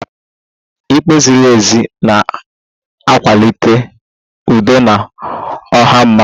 Ikpe ziri ezi na-akwalite udo na ọha mmadụ